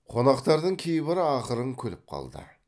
қонақтардың кейбірі ақырын күліп қалды